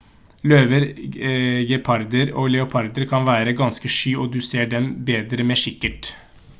løver geparder og leoparder kan være ganske sky og du ser dem bedre med kikkert